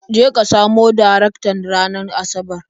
Je ka samu Darektan ranar Asabar.